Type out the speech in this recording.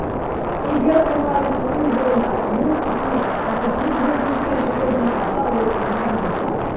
егер мұғалім өн бойына өз ісіне шәкіртіне деген сүйіспеншілікті жинақтаса ол нағыз ұстаз